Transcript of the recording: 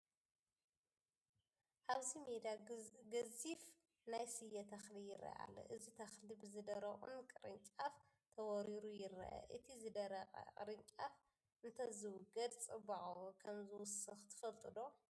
ኣብዚ ሜዳ ግዙፍ ናይ ስየ ተኽሊ ይርአ ኣሎ፡፡ እዚ ተኽሊ ብዝደረቑ ቅርንጫፍ ተወሪሩ ይርአ፡፡ እቲ ዝደረቐ ቅርንጫፍ እንተዝውገድ ፅባቐኡ ከምዝውስኽ ትፈልጡ ዶ?